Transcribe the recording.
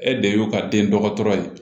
E de y'o ka den dɔgɔtɔrɔ ye